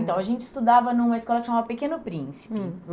Então, a gente estudava numa escola que chamava Pequeno Príncipe. Hum